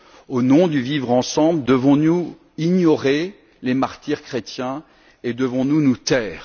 Au nom du vivre ensemble, devons nous ignorer les martyrs chrétiens et devons nous nous taire?